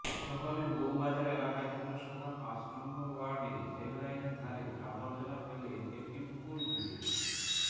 শহরের বৌবাজার এলাকায় পুরসভার পাঁচ নম্বর ওয়ার্ডে রেল লাইনের ধারে আবর্জনা ফেলে একটি পুকুর বুজিয়ে